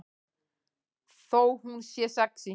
Þó hún sé sexí.